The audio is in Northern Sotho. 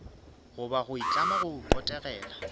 goba go itlama go botegela